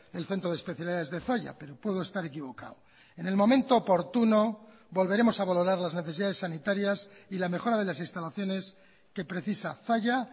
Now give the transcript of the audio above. el centro de especialidades de zalla pero puedo estar equivocado en el momento oportuno volveremos a valorar las necesidades sanitarias y la mejora de las instalaciones que precisa zalla